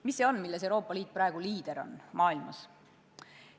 Mis see on, milles Euroopa Liit on praegu maailmas liider?